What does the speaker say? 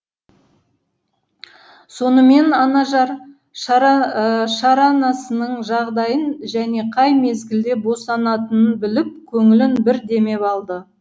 сонымен анажар шаранасының жағдайын және қай мезгілде босанатынын біліп көңілін бір демеп алды